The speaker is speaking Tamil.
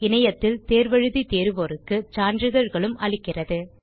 இணையத்தில் தேர்வு எழுதி தேர்வோருக்கு சான்றிதழ்களும் அளிக்கிறது